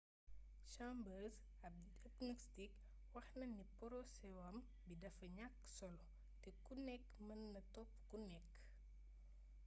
chambers ab agnostic wax na ni poroséwam bi dafa ñakk solo te ku nekk mën naa topp ku nekk